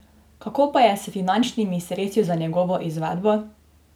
Kako pa je s finančnimi sredstvi za njegovo izvedbo?